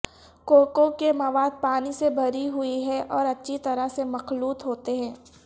کوکوں کے مواد پانی سے بھری ہوئی ہیں اور اچھی طرح سے مخلوط ہوتے ہیں